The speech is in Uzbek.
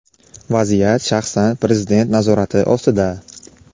Vaziyat shaxsan Prezident nazorati ostida.